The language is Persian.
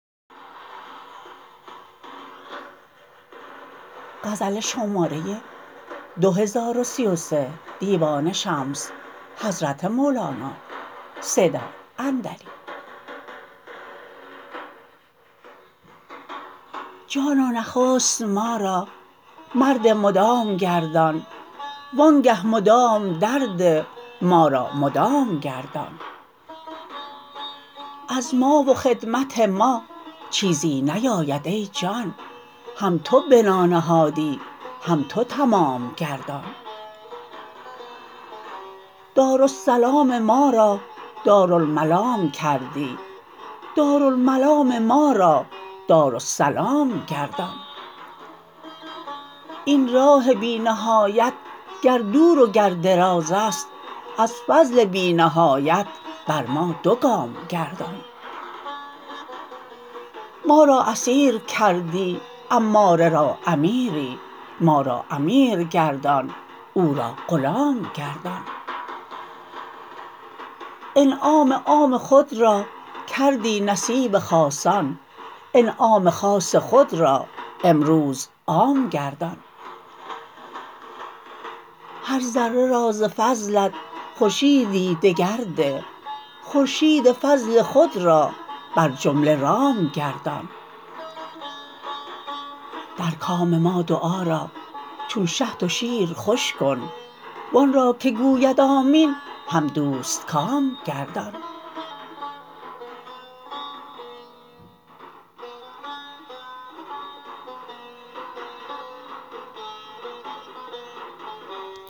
جانا نخست ما را مرد مدام گردان وآنگه مدام درده ما را مدام گردان از ما و خدمت ما چیزی نیاید ای جان هم تو بنا نهادی هم تو تمام گردان دارالسلام ما را دارالملام کردی دارالملام ما را دارالسلام گردان این راه بی نهایت گر دور و گر دراز است از فضل بی نهایت بر ما دو گام گردان ما را اسیر کردی اماره را امیری ما را امیر گردان او را غلام گردان انعام عام خود را کردی نصیب خاصان انعام خاص خود را امروز عام گردان هر ذره را ز فضلت خورشیدییی دگر ده خورشید فضل خود را بر جمله رام گردان در کام ما دعا را چون شهد و شیر خوش کن و آن را که گوید آمین هم دوستکام گردان